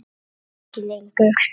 Ég veit það ekki lengur.